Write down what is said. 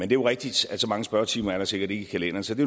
jo rigtigt at så mange spørgetimer er der sikkert ikke i kalenderen så det